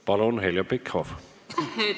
Palun, Heljo Pikhof!